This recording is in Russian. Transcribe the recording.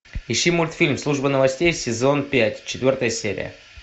ищи мультфильм служба новостей сезон пять четвертая серия